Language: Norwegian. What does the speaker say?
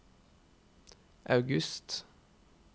august